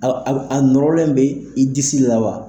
A nɔrɔlen bɛ i disi la wa?